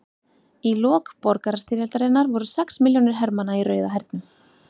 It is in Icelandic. Í lok borgarastyrjaldarinnar voru sex milljónir hermanna í Rauða hernum.